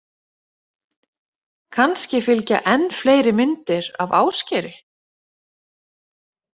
Kannski fylgja enn fleiri myndir af Ásgeiri.